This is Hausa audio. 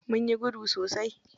Munyi gudu sosai.